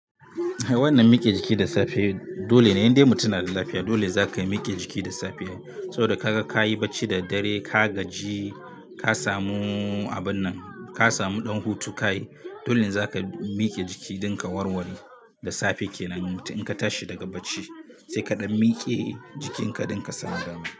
Wannan mike jiki da safe dole ne idan dai mutum yana da lafiya dole za ka yi mike jiki da safe. Saboda ka ga ka yi barci da dare, ka gaji, ka samu abun nan, ka samu ɗan hutu ka yi, dole za ka mike jiki don ka warware da safe ke nan. In ka tashi daga barci sai kaɗan miƙe jikinka don ka samu damar.